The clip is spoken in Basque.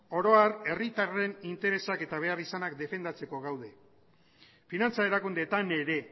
oro har herritarren interesak eta behar izanak defendatzeko gaude finantza erakundeetan ere